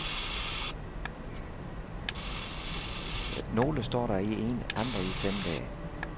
Nogle står der i en, andre i fem dage.